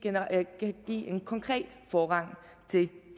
en konkret forrang til